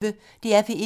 DR P1